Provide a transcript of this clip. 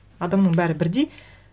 адамның бәрі бірдей